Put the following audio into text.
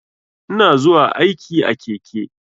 Ina zuwa aiki a keke.